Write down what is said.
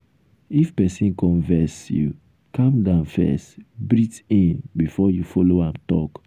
if pesin come vex you calm down first breathe in before you follow am talk.